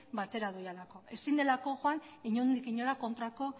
batera direlako ezin delako joan inondik inora kontrako